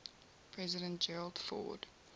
president gerald ford